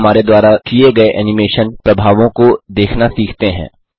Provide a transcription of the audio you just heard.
अब हमारे द्वारा किये गये एनिमेशन प्रभावों को देखना सीखते हैं